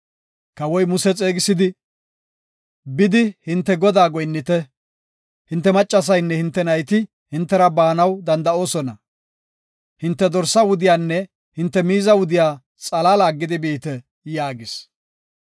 Kawoy Muse xeegisidi, “Bidi hinte Godaa goyinnite. Hinte maccasaynne hinte nayti hintera baanaw danda7oosona. Hinte dorsaa wudiyanne hinte miiza wudiya xalaala aggidi biite” yaagis.